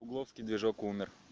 у вовки движок умер